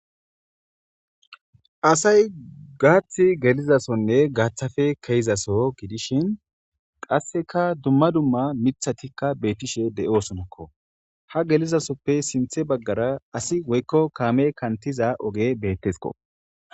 asay gaathth gelizasonne gaaththafe keeizaso gidishin qasseka dumma dumma mithatikka beettishe de7osonakko ha gelizasoppe sinthe baggara asi woykko kaame kantiza oge bettesko